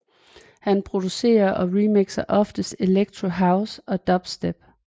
Han producerer og remixer oftest electro house og dubstep